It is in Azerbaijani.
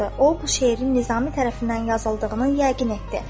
O, bu şeirin Nizami tərəfindən yazıldığını yəqin etdi.